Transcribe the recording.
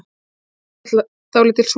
Þar er nú dálítil súld.